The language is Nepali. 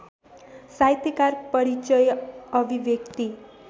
साहित्यकार परिचय अभिव्यक्ति